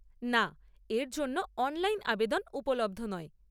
না, এর জন্য অনলাইন আবেদন উপলব্ধ নয়।